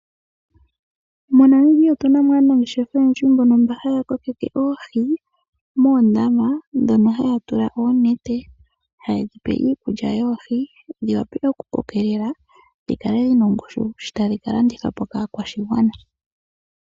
MoNamibia otu na mo aanangeshefa oyendji mbono mba haya kokeke oohi moondama dhono haya tula oonete. Haye dhi pe iikulya yoohi dhi wape oku kokelela dhi kale dhi na ongushu, shi tadhi ka landithwa po kaa kwashigwana.